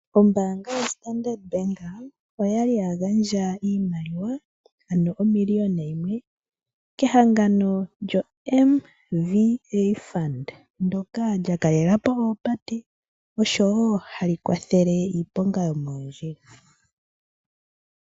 Ombaanga yoStandard Bank oyali ya gandja iimaliwa ano omiliyona yimwe kehangano lyoMVA Fund ndoka lya kalelapo oopate, oshowo hali kwathele iiponga yomoondjila.